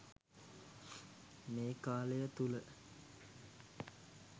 මේ කාලය තුළ